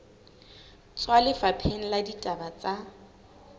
tswa lefapheng la ditaba tsa